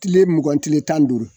Tile mugan tile tan duuru